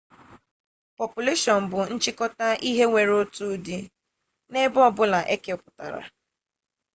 pọpụleshọn bụ nchịkọta ihe nwere otu ụdị n'ebe ọbụla ekepụtara